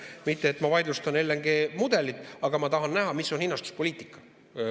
Mitte et ma vaidlustan mudelit, aga ma tahan näha, mis on hinnastuspoliitika.